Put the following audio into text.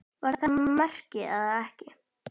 Var þetta mark eða ekki?